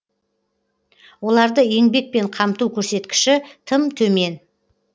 оларды еңбекпен қамту көрсеткіші тым төмен